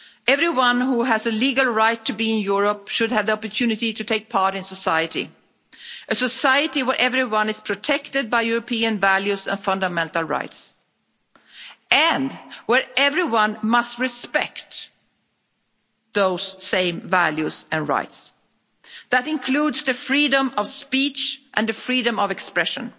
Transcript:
Everyone who has a legal right to be in Europe should have the opportunity to take part in society, a society where everyone is protected by European values and fundamental rights, and where everyone must respect those same values and rights, that includes the freedom of speech and the freedom of expression.